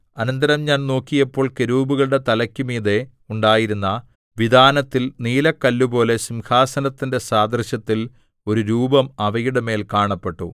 അനന്തരം ഞാൻ നോക്കിയപ്പോൾ കെരൂബുകളുടെ തലയ്ക്കുമീതെ ഉണ്ടായിരുന്ന വിതാനത്തിൽ നീലക്കല്ലുപോലെ സിംഹാസനത്തിന്റെ സാദൃശ്യത്തിൽ ഒരു രൂപം അവയുടെമേൽ കാണപ്പെട്ടു